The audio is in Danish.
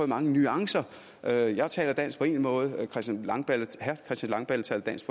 mange nuancer jeg taler dansk på én måde herre christian langballe langballe taler dansk